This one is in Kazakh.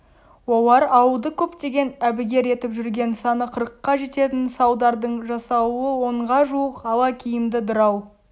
олар ауылды көптен әбігер етіп жүрген саны қырыққа жететін салдардың жасауылы онға жуық ала киімді дырау